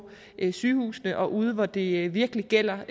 sygehusene og ude i regionerne hvor det virkelig gælder